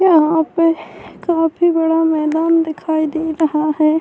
یہاں پر کافی بڑا میدان دکھائی دے رہا ہے۔